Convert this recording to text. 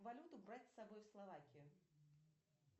валюту брать с собой в словакию